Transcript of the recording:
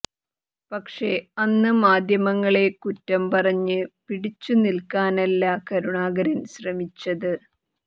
പക്ഷേ അന്ന് മാധ്യമങ്ങളെ കുറ്റം പറഞ്ഞ് പിടിച്ചുനില്ക്കാനല്ല കരുണാകരന് ശ്രമിച്ചത്